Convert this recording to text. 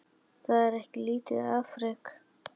Það er ekki lítið afrek.